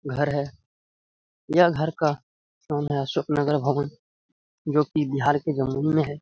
घर है यह घर का है अशोक नगर भवन जो कि बिहार के जमुई में है।